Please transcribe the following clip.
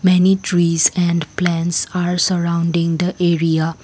many trees and plants are surrounding the area.